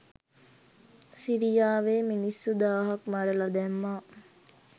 සිරියාවේ මිනිස්සු දාහක් මරල දැම්මා.